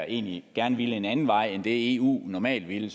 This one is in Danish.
egentlig gerne ville en anden vej end eu normalt vil